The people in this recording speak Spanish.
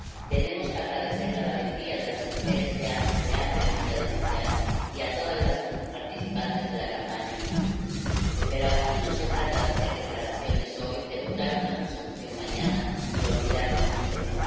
Tenemos que agradecer la valentía de las mujeres que se han atrevido a denunciar y a todas las participantes de la campaña Me too pero aquí no se trata de hacer declaraciones hoy, de votar una resolución mañana y olvidarnos del tema.